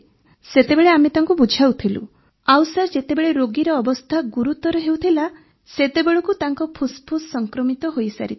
ସେତେବେଳେ ଆମେ ତାଙ୍କୁ ବୁଝାଉଥିଲୁ ଆଉ ସାର୍ ଯେତେବେଳେ ରୋଗୀର ଅବସ୍ଥା ଗୁରୁତର ହେଉଥିଲା ସେତେବେଳେ ତାଙ୍କ ଫୁସ୍ଫୁସ୍ ସଂକ୍ରମିତ ହୋଇସାରିଥିଲା